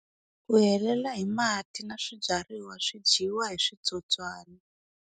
Ku helela hi mati na swibyariwa swi dyiwa hi switsotswani.